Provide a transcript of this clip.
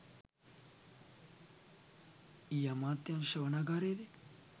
ඊයේඅමාත්‍යාංශ ශ්‍රවණාගාරයේදී